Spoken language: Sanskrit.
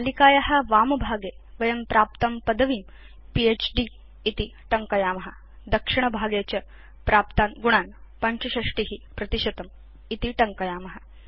तालिकाया वामभागे वयं प्राप्तां पदवीं फ्द् इति टङ्कयाम दक्षिणभागे च प्राप्तान् गुणान् 65 इति टङ्कयाम